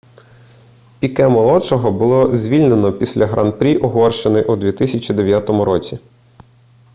піке-молодшого було звільнено після гран-прі угорщини у 2009 році